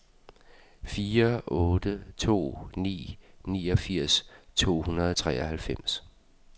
fire otte to ni niogfirs to hundrede og treoghalvfems